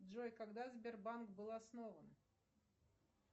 джой когда сбербанк был основан